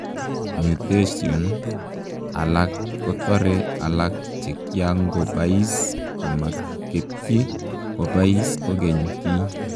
Mutetions alak kotere alaak chekiankopais komaketyi kopais kokeny kiy